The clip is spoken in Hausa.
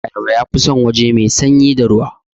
Ayaba yafi san waje mai sanyi da ruwa